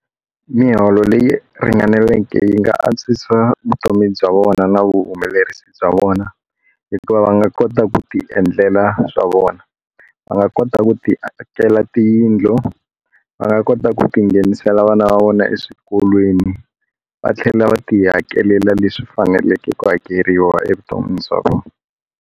Miholo leyi ringaneleke yi nga antswisa vutomi bya vona na vuhumelerisi bya vona hikuva va nga kota ku tiendlela swa vona va nga kota ku tiakela tiyindlu va nga kota ku ti nghenisela vana va vona eswikolweni va tlhela va tihakelela leswi faneleke ku hakeriwa evuton'wini bya vona.